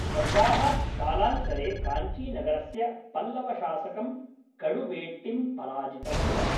गङ्गाः कालान्तरे काञ्चीनगरस्य पल्लवशासकं कडुवेट्टिं पराजितवन्तः।